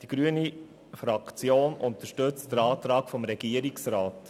Die grüne Fraktion unterstützt den Antrag des Regierungsrats.